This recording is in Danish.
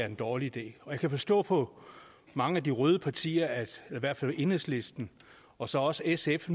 en dårlig idé jeg kan forstå på mange af de røde partier i hvert fald enhedslisten og så også sf at